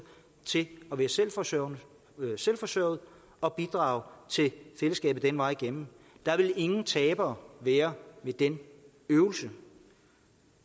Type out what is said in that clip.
til at være selvforsørgende selvforsørgende og bidrage til fællesskabet den vej igennem der vil ingen tabere være i den øvelse